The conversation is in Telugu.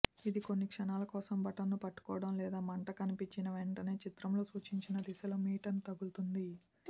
ఇది కొన్ని క్షణాల కోసం బటన్ను పట్టుకోవడం లేదా మంట కనిపించిన వెంటనే చిత్రంలో సూచించిన దిశలో మీటను తిరుగుతుంది